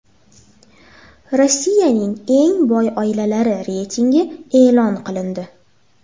Rossiyaning eng boy oilalari reytingi e’lon qilindi.